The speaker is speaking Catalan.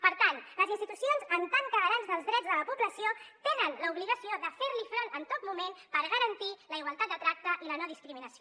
per tant les institucions en tant que garants dels drets de la població tenen l’obligació de fer hi front en tot moment per garantir la igualtat de tracte i la no discriminació